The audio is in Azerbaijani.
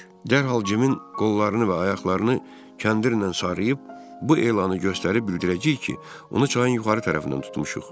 Dərhal Cimin qollarını və ayaqlarını kəndirlə sarıyıb bu elanı göstərib bildirəcəyik ki, onu çayın yuxarı tərəfindən tutmuşuq.